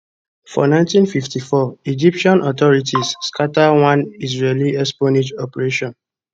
for 1954 egyptian authorities scata one israeli espionage operation